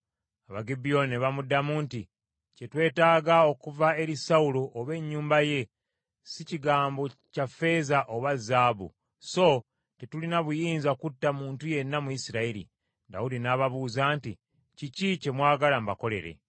Abagibyoni ne bamuddamu nti, “Kye twetaaga okuva eri Sawulo oba ennyumba ye, si kigambo kya ffeeza oba zaabu, so tetulina buyinza kutta muntu yenna mu Isirayiri.” Dawudi n’ababuuza nti, “Kiki kye mwagala mbakolere?”